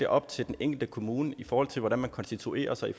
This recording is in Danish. op til den enkelte kommune i forhold til hvordan man konstituerer sig i